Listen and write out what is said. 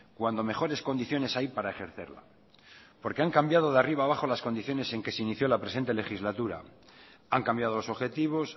cuando mejores condiciones hay para ejercerla porque han cambiado de arriba a abajo las condiciones en que se inició la presente legislatura han cambiado los objetivos